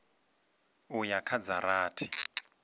u ya kha dza rathi